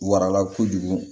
Warala kojugu